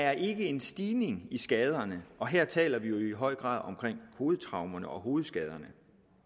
er en stigning i skaderne og her taler vi i høj grad om hovedtraumerne og hovedskaderne